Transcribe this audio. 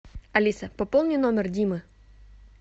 алиса пополни номер димы